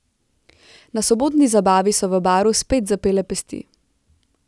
Na sobotni zabavi so v Baru spet zapele pesti.